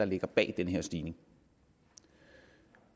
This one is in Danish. ligger bag den her stigning